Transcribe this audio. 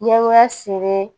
Ɲɛgoya seri